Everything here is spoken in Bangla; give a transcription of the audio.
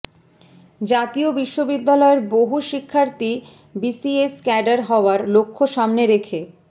জাতীয় বিশ্ববিদ্যালয়ের বহু শিক্ষার্থী বিসিএস ক্যাডার হওয়ার লক্ষ্য সামনে রেখে